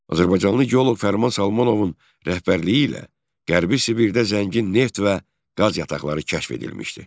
Azərbaycanlı geoloq Fərman Salmanovun rəhbərliyi ilə Qərbi Sibirdə zəngin neft və qaz yataqları kəşf edilmişdi.